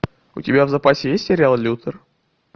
у тебя в запасе есть сериал лютер